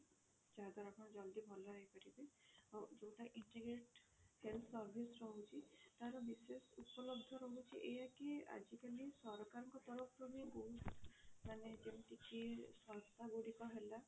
ଯାହା ଦ୍ଵାରା ଆପଣ ଜଲ୍ଦି ଭଲ ହେଇ ପାରିବେ ଆଉ ଯଉଟା integrate health service ରହୁଛି ତାର ବିଶେଷ ଉପଲବ୍ଧ ରହୁଛି ଏଇଆ କି ଆଜି କାଲି ସରକାରଙ୍କ ତରଫ ରୁ ବି ବହୁତ ମାନେ ଯେମିତି କି ସଂସ୍ଥା ଗୁଡିକ ହେଲା